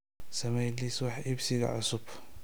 samee liis wax iibsiga cusub